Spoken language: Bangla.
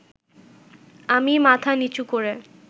আমি মাথা নীচু করে